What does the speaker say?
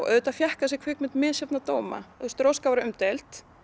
auðvitað fékk þessi mynd misjafna dóma róska var umdeild